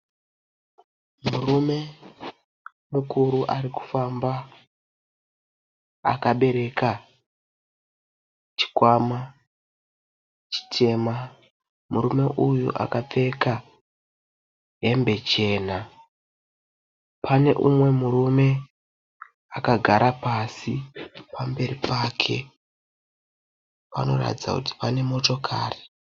Murume mukuru arikufamba akabereka chikwama chitema, murume uyu akapfeka hembe chena, pane umwe murume akagara pasi pamberi pake, panoratidza kuti pane motokari.